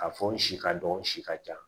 K'a fɔ n si ka dɔgɔ n si ka ca